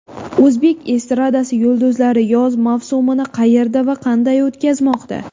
O‘zbek estradasi yulduzlari yoz mavsumini qayerda va qanday o‘tkazmoqda?.